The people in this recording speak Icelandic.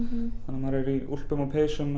maður er í úlpum og peysum